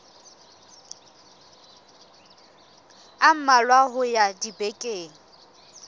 a mmalwa ho ya dibekeng